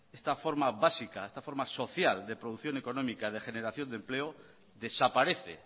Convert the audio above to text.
esta forma básica esta forma social de producción económica y de generación de empleo desaparece